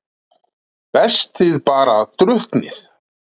Best þið bara drukknið.